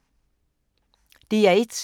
DR1